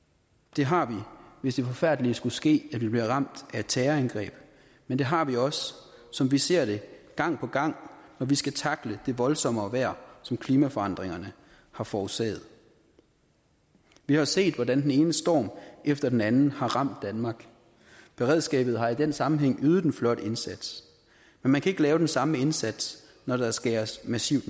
det har vi hvis det forfærdelige skulle ske at vi bliver ramt af et terrorangreb men det har vi også som vi ser det gang på gang når vi skal tackle det voldsommere vejr som klimaforandringerne har forårsaget vi har set hvordan den ene storm efter den anden har ramt danmark beredskabet har i den sammenhæng ydet en flot indsats men man kan ikke lave den samme indsats når der skæres massivt